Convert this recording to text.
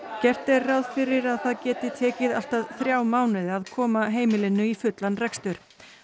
gert er ráð fyrir að það geti tekið allt að þrjá mánuði að koma heimilinu í fullan rekstur